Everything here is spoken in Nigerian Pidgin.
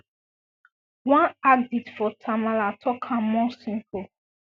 one addict for tamale tok am more simple